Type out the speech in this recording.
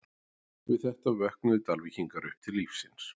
Við þetta vöknuðu Dalvíkingar upp til lífsins.